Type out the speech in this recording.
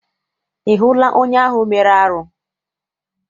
Ị hụla onye ahụ mere arụ?